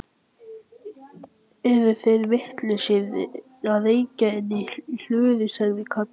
Eru þeir vitlausir að reykja inni í hlöðu? sagði Kata.